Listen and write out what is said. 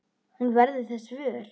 Hún verður þess vör.